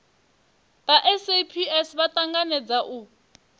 vha saps vha tanganedza u